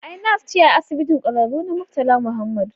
Ai nas ce a Asibitin Ƙwararru na Murtala Mohammed